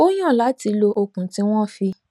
ó yàn láti lo okùn tí wọn fi